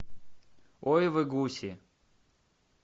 ой вы гуси